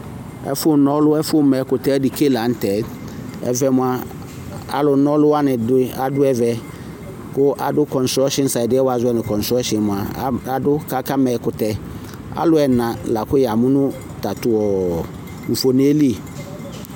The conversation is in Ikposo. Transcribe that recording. Ɛfunɔlʋ, ɛfu m'ɛkutɛ dike laŋtɛ Ɛvɛ mia, alunɔluwani adu aduɛvɛ ku aɖu konstronkshin adiɛ woazɔɛ nʋ konstronkshin mua adu k'akama ɛkurɛAlu ɛna lakʋ yamʋ nu tatʋ ɔɔvoneli